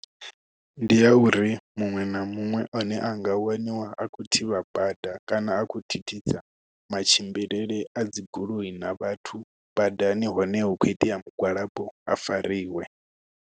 Ndi ya uri muṅwe na muṅwe ane anga waniwa a khou thivha bada kana a kho thithisa matshimbilele a dzi goloi na vhathu badani hone hu kho itea mugwalabo a fariwe.